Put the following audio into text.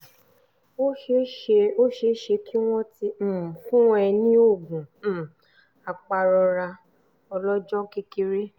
ó ṣeé ṣe ó ṣeé ṣe kí wọ́n ti um fún ẹ ní oògùn um apàrora ọlọ́jọ́ kékeré um